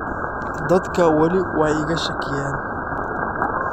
“Dadku wali way iga shakiyaan.